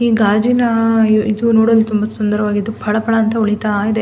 ಈ ಗಾಜಿನ ಇದು ನೋಡಲು ತುಂಬಾ ಸುಂದರವಾಗಿದ್ದು ಪಳ ಪಳ ಅಂತ ಹೊಳಿತಾ ಇದೆ.